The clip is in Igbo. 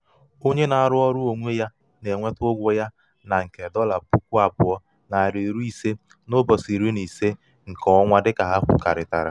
onye na-arụ ọrụ onwe ya na-enweta ụgwọ ya nke nke dolla puku abuo nari iri ise n’ụbọchị iri na ise nke ọnwa dịka ha kwurịtara